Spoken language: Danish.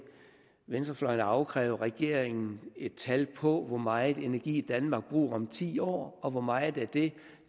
venstrefløjen afkræve regeringen et tal på hvor meget energi danmark bruger om ti år og hvor meget af det